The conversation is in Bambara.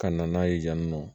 Ka na n'a ye yan nɔ